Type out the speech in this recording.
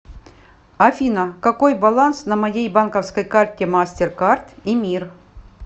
афина какой баланс на моей банковской карте мастеркард и мир